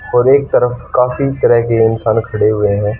और एक तरफ काफी तरह के इंसान खड़े हुए हैं।